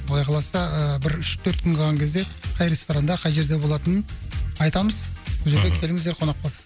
құдай қаласа ыыы бір үш төрт күн қалған кезде қай ресторанда қай жерде болатынын айтамыз мхм сол жерге келіңіздер қонақ болып